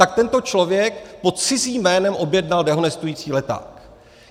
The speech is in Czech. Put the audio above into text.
Tak tento člověk pod cizím jménem objednal dehonestující leták.